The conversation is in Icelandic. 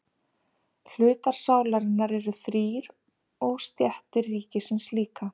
Hlutar sálarinnar eru þrír og stéttir ríkisins líka.